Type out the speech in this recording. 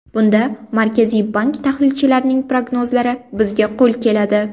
Bunda Markaziy bank tahlilchilarining prognozlari bizga qo‘l keladi.